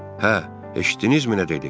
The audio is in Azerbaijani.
Hə, eşitdinizmi nə dedi?